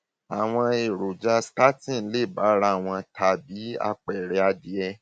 àwọn èròjà statin lè bára wọn tan bí àpẹẹrẹ adìyẹ